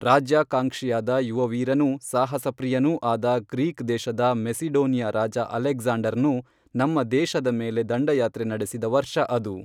ರಾಜ್ಯಾಕಾಂಕ್ಷಿಯಾದ ಯುವವೀರನೂ ಸಾಹಸಪ್ರಿಯನೂ ಆದ ಗ್ರೀಕ್ ದೇಶದ ಮೆಸಿಡೋನಿಯಾ ರಾಜ ಅಲೆಗ್ಜಾಂಡರ್ನು ನಮ್ಮ ದೇಶದ ಮೇಲೆ ದಂಡಯಾತ್ರೆ ನಡೆಸಿದ ವರ್ಷ ಅದು